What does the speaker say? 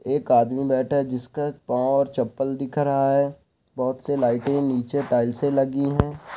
एक आदमी बैठा है जिसका पांव और चप्पल दिख रहा है| बहुत से लाइटें नीचे टाइल्स लगी हैं।